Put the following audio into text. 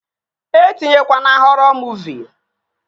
E tinyekwana họrọ muuvi!